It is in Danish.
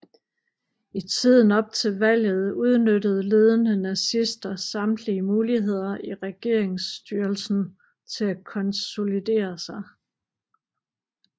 I tiden op til valget udnyttede ledende nazister samtlige muligheder i regeringsstyrelsen til at konsolidere sig